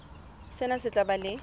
sena se tla ba le